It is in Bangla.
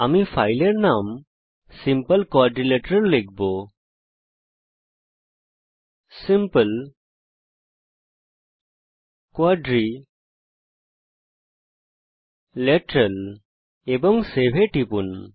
আমি ফাইলের নাম simple কোয়াড্রিলেটারাল লিখব এবং সেভ টিপব